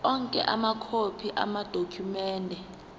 onke amakhophi amadokhumende